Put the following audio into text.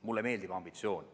Mulle meeldib ambitsioon.